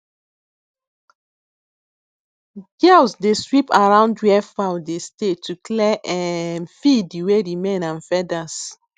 girls dey sweep around where fowl dey stay to clear um feede wey remain and feathers